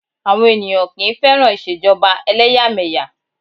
Àwọn ènìyàn kì í fẹ́ràn Ìṣèjọba ẹlẹ́yàmẹ̀yà.